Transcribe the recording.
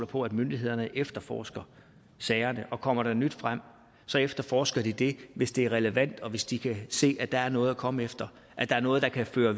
på at myndighederne efterforsker sagerne og kommer der nyt frem så efterforsker de det hvis det er relevant og hvis de kan se at der er noget at komme efter at der er noget der kan føre